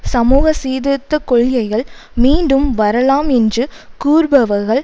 சமூக சீர்திருத்த கொள்கைகள் மீண்டும் வரலாம் என்று கூறுபவர்கள்